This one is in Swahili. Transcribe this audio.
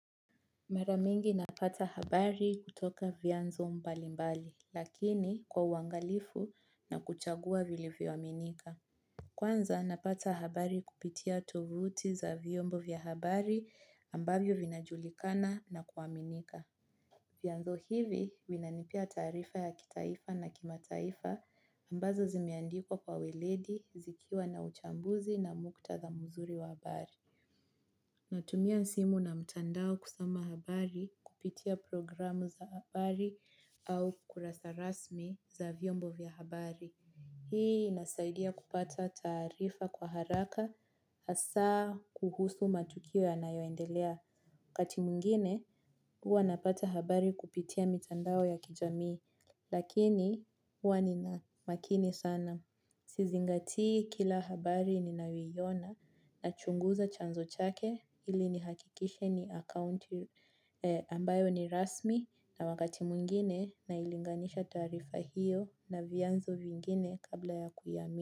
Maramingi napata habari kutoka vyanzo mbali mbali lakini kwa uangalifu na kuchagua vili vyoaminika. Kwanza napata habari kupitia tovuti za vyombo vyahabari ambavyo vinajulikana na kuaminika. Vyanzo hivi vinanipea taarifa ya kitaifa na kimataifa ambazo zimeandikwa kwa weledi zikiwa na uchambuzi na mukta dha muzuri wa habari. Natumia simu na mtandao kusoma habari kupitia programu za habari au kurasa rasmi za vyombo vya habari. Hii inasaidia kupata taarifa kwa haraka asaa kuhusu matukio ya nayoendelea. Wakati mwingine, huwa napata habari kupitia mtandao ya kijamii, lakini huwa ni na makini sana. Sizingatii kila habari ni nayoiona na chunguza chanzo chake ili nihakikishe ni account ambayo ni rasmi na wakati mwingine na ilinganisha taarifa hiyo na vyanzo vingine kabla ya kuyaami.